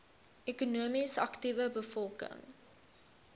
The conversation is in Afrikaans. ekonomies aktiewe bevolking